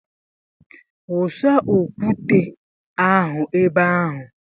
Wụsa okwute (nkume) ahụ ebe ahụ!